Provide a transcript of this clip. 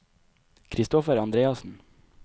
Christoffer Andreassen